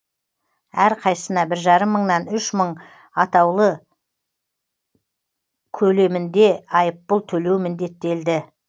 әрқайсысына бір жарым мыңнан үш мың атаулы көлемінде айыппұл төлеу міндеттелді